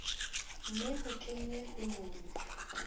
mme ho kenwe ho lona